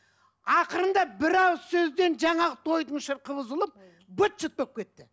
ақырында бір ауыз сөзден жаңағы тойдың шырқы бұзылып быт шыт болып кетті